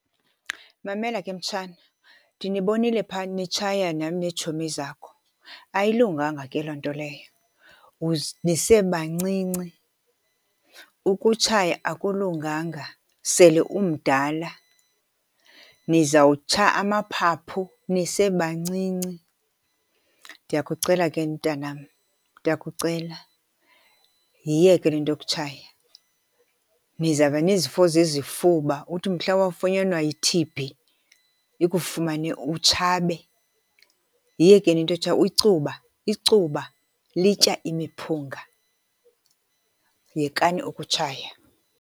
Mamela ke mtshana, ndinibonile phaa nitshaya nam neetshomi zakho. Ayilunganga ke loo nto leyo, nisebancinci. Ukutshaya akulunganga sele umdala. Nizawutsha amaphaphu nisebancinci. Ndiyakucela ke mntanam, ndiyakucela. Yiyeke le nto yokutshaya. Nizawuba nezifo zezifuba uthi mhla wafunyanwa yi-T_B ikufumane utshabe. Yiyekeni into yotshaya. Icuba icuba litya imiphunga. Yekani ukutshaya.